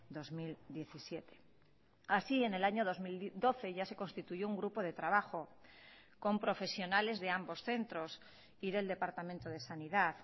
dos mil diecisiete así en el año dos mil doce ya se constituyó un grupo de trabajo con profesionales de ambos centros y del departamento de sanidad